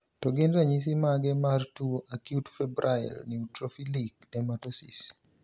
To gin ranyisis mage mar tuo Acute febrile neutrophilic dermatosis?